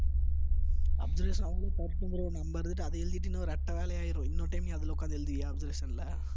observation அவுங்களே பாத்து bro நம்ம இருந்துட்டு அதை எழுதிட்டு இன்னும் ரெட்டை வேலையாயிரும் இன்னொரு time நீ அதுல உட்கார்ந்து எழுதுவியா observation ல